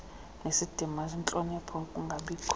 enesidima nentlonipho kungabikho